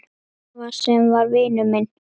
Afa sem var vinur minn.